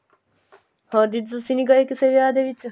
ਹੋਰ ਦੀਦੀ ਤੁਸੀਂ ਨਹੀਂ ਗਏ ਕਿਸੇ ਵਿਆਹ ਚ